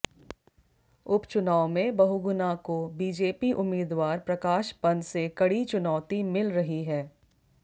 उपचुनाव में बहुगुणा को बीजेपी उम्मीदवार प्रकाश पंत से कड़ी चुनौती मिल रही है